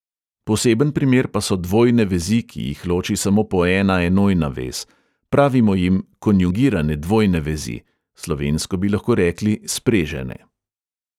Poseben primer pa so dvojne vezi, ki jih loči samo po ena enojna vez, pravimo jim konjugirane dvojne vezi, slovensko bi lahko rekli sprežene.